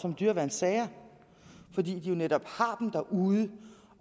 om dyreværnssager fordi de jo netop har dem derude